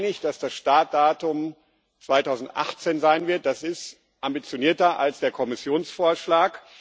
Wir sind uns einig, dass das Startdatum 2018 sein wird das ist ambitionierter als der Kommissionsvorschlag.